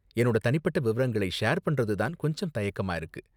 என்னோட தனிப்பட்ட விவரங்களை ஷேர் பண்றது தான் கொஞ்சம் தயக்கமா இருக்கு.